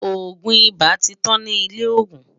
ògún ibà tí tán ní ilè ògún